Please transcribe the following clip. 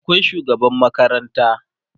akwai shugaban makaranta